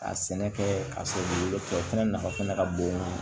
Ka sɛnɛ kɛ ka sɔrɔ dugukolo fɛnɛ nafa fana ka bon